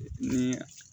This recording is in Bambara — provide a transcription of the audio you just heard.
Ni